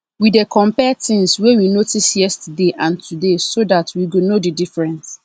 we dey compare things wey we notice yesterday and today so that we go know the difference